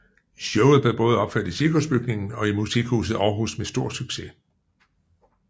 Showet blev både opført i Cirkusbygningen og Musikhuset Aarhus med stor succes